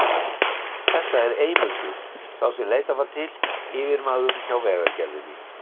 Þetta er Eymundur, sá sem leitað var til, yfirmaður hjá Vegagerðinni.